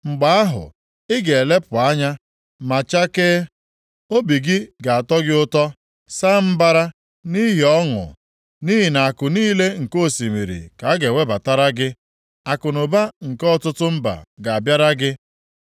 Mgbe ahụ, ị ga-elepụ anya ma chakee, obi gị ga-atọ gị ụtọ, saa mbara nʼihi ọṅụ, nʼihi na akụ niile nke osimiri ka a ga-ewebatara gị, akụnụba nke ọtụtụ mba ga-abịara gị.